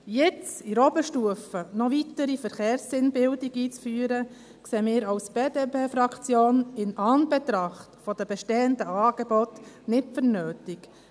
Jetzt in der Oberstufe noch weitere Verkehrssinnbildung einzuführen, erachten wir von der BDP-Fraktion in Anbetracht der bestehenden Angebote nicht als nötig.